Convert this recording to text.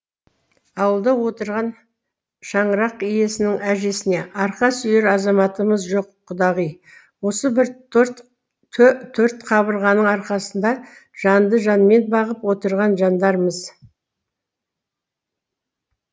аулада отырған шаңырақ иесінің әжесіне арқа сүйер азаматымыз жоқ құдағи осы бір торт қабырғаның арқасында жанды жанмен бағып отырған жандармыз